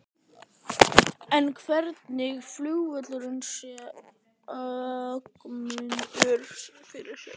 En hvernig flugvöll sér Ögmundur fyrir sér?